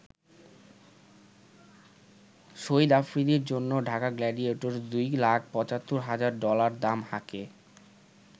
শহীদ আফ্রিদির জন্য ঢাকা গ্ল্যাডিয়েটর্স দুই লাখ ৭৫ হাজার ডলার দাম হাঁকে।